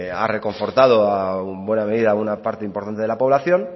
ha reconfortado en buena medida a una parte importante de la población